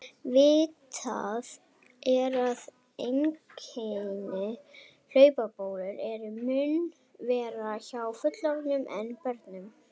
Vitað er að einkenni hlaupabólu eru mun verri hjá fullorðnum en börnum.